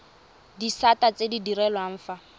disata tse di direlwang fa